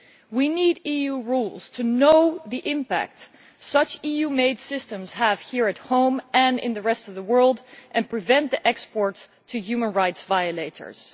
We need EU rules to know the impact such EU made systems have here at home and in the rest of the world, and to prevent exports to human rights violators.